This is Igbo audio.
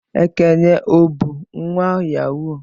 Ekene o bu nwa Yahoo?